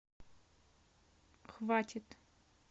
хватит